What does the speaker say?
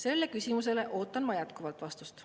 Sellele küsimusele ootan ma jätkuvalt vastust.